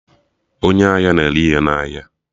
Onye ahịa na-ere ihe na ahịa